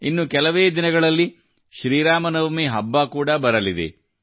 ಇನ್ನು ಕೆಲವೇ ದಿನಗಳಲ್ಲಿ ಶ್ರೀ ರಾಮನವಮಿ ಹಬ್ಬ ಕೂಡಾ ಬರಲಿದೆ